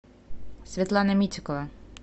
светлана митикова